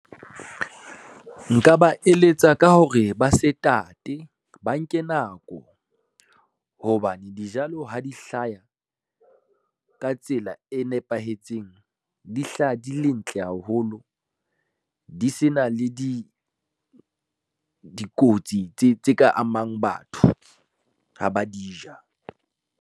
Nka ba eletsa ka hore ba se tate ba nke nako, hobane dijalo ha di hlaya, ka tsela e nepahetseng di hlaha di le ntle haholo, di se na le dikotsi tse ka amang batho ha ba di ja.